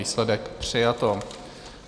Výsledek - přijato.